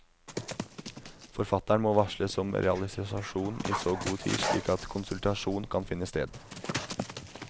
Forfatteren må varsles om realisasjon i så god tid at slik konsultasjon kan finne sted.